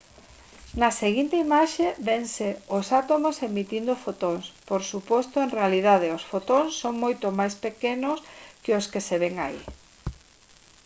na seguinte imaxe vense os átomos emitindo fotóns por suposto en realidade os fotóns son moito máis pequenos que os que se ven aí